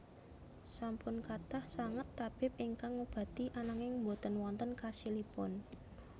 Sampun kathah sanget tabib ingkang ngobati ananging boten wonten khasilipun